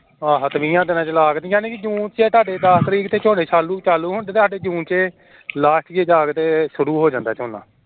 ਆਹਾ ਵੀਹਾਂ ਦੀਨਾ ਚ ਲਾਕੇ ਯਾਨੀ ਜੂਨ ਚ ਦੱਸ ਤਰੀਕ ਤਕ ਤੁਹਾਡੇ ਝੋਨੇ ਚਾਲੂ ਚਾਲੂ ਹੁੰਦੇ ਤੇ ਸਾਡੇ ਜੂਨ ਚ last ਤੇ ਜਾਕੇ ਸ਼ੁਰੂ ਹੋ ਜਾਂਦਾ ਝੋਨਾ